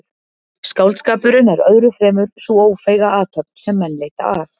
Skáldskapurinn er öðru fremur sú ófeiga athöfn sem menn leita að.